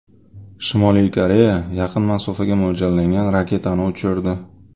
Shimoliy Koreya yaqin masofaga mo‘ljallangan raketani uchirdi.